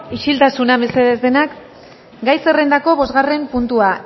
isiltasuna mesedez denak gai zerrendako bosgarren puntua